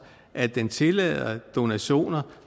at det tillader donationer